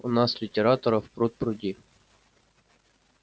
у нас литераторов пруд-пруди